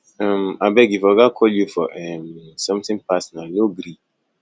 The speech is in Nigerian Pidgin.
um abeg if oga call you fir um something personal no gree